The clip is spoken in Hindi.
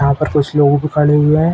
यहा पर कुछ लोग भी खड़े हुए है।